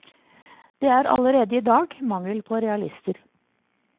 Det er allerede i dag mangel på realister.